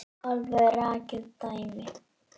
Alveg rakið dæmi.